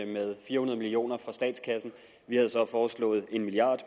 med fire hundrede million kroner fra statskassen vi havde så foreslået en milliard